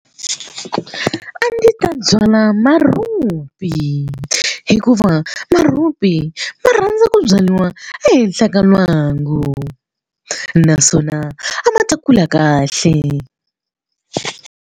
A ndzi ta byala marhupi hikuva marhupi ma rhandza ku byariwa ehenhla ka lwangu naswona a ma ta kula kahle.